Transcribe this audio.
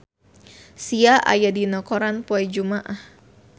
Sia aya dina koran poe Jumaah